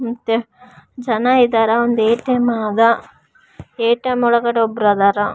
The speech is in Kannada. ಮತ್ತೆ ಜನ ಇದಾರ ಒಂದು ಏ ಟಿ ಎಮ್ ಇದೆ ಏ ಟಿ ಎಮ್ ಒಳಗೆ ಒಬ್ರು ಅದಾರ.